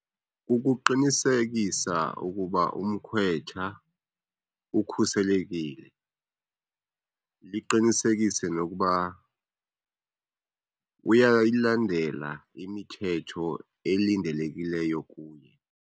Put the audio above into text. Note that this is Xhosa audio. Kukuqinisekisa ukuba umkhwetha ukhuselekile. Liqinisekise nokuba uyayilandela imithetho elilindelekileyo kuye.